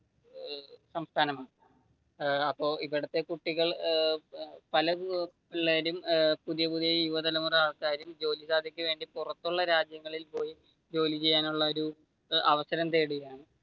സംസ്ഥാനം അപ്പൊ ഇവിടത്തെ കുട്ടികൾ പല പിള്ളേരും പുതിയ പുതിയ യുവതലമുറ ആൾക്കാരും ജോലിസാധ്യതക്കു വേണ്ടി പുറത്തുള്ള രാജ്യങ്ങളിൽ പോയി ജോലി ചെയ്യാനുളള ഒരു അവസരം തേടുകയാണ്.